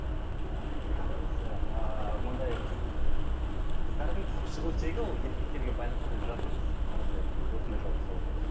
кейде ойлаймын да осы ааа мынандай қыз қыздардың шығу тегі ол еркектерге байланысты деп жатырмыз осылай осындай жолға салу